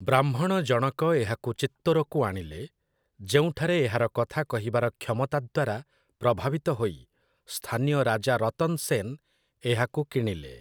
ବ୍ରାହ୍ମଣ ଜଣକ ଏହାକୁ ଚିତ୍ତୋରକୁ ଆଣିଲେ, ଯେଉଁଠାରେ ଏହାର କଥାକହିବାର କ୍ଷମତା ଦ୍ୱାରା ପ୍ରଭାବିତ ହୋଇ ସ୍ଥାନୀୟ ରାଜା ରତନ୍ ସେନ୍ ଏହାକୁ କିଣିଲେ ।